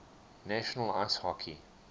national ice hockey